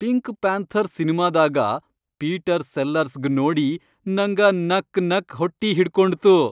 Pink panther ಸಿನಿಮಾದಾಗ Peter ಸೆಲ್ಲರ್ಸ್ಗ್ ನೋಡಿ ನಂಗ ನಕ್ನಕ್ ಹೊಟ್ಟಿಹಿಡ್ಕೊಂಡ್ತು .